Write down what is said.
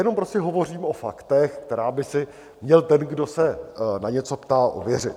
Jenom prostě hovořím o faktech, která by si měl ten, kdo se na něco ptá, ověřit.